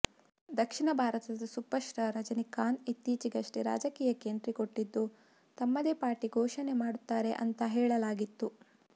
ದಕ್ಷಿಣ ಭಾರತದ super star Rajinikanth ಇತ್ತೀಚೆಗಷ್ಟೇ ರಾಜಕೀಯಕ್ಕೆ ಎಂಟ್ರಿಕೊಟ್ಟಿದ್ದು ತಮ್ಮದೇ ಪಾರ್ಟಿ ಘೋಷಣೆ ಮಾಡುತ್ತಾರೆ ಅಂತ ಹೇಳಲಾಗಿತ್ತು